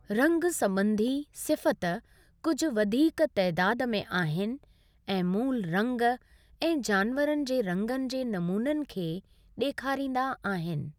रंगु संबं॒धी सिफ़ति कुझु वधीक तइदादु में आहिनि ऐं मूलु रंगु ऐं जानवरनि जे रंगनि जे नमूननि खे डे॒खारींदा आहिनि।